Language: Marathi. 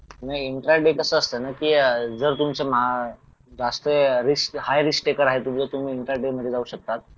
नाही इंट्राडे कसं असतं ना की अह जर तुमचं जास्त रिस्क हाय रिस्क मध्ये आहे तुम्ही तुम्ही इंट्राडे मध्ये जाऊ शकता